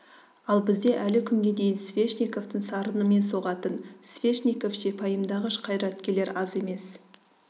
ал бізде әлі күнге дейін свешниковтің сарынымен соғатын свешниковше пайымдағыш қайраткерлер аз емес